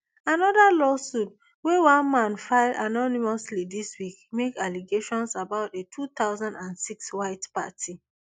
another lawsuit wey one man file anonymously dis week make allegations about a two thousand and six white party